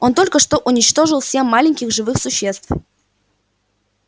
он только что уничтожил семь маленьких живых существ